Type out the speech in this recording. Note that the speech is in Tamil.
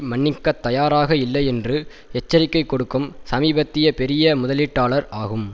மன்னிக்கத் தயாராக இல்லை என்று எச்சரிக்கை கொடுக்கும் சமீபத்திய பெரிய முதலீட்டாளார் ஆகும்